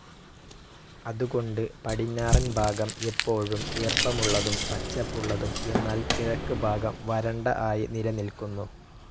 അതുകൊണ്ട് പടിഞ്ഞാറൻ ഭാഗം എപ്പോഴും ഈർപ്പമുള്ളതും പച്ചപ്പുള്ളതും എന്നാൽ കിഴക്ക് ഭാഗം വരണ്ട ആയി നിലനിൽക്കുന്നു.